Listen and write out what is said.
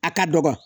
A ka dɔgɔ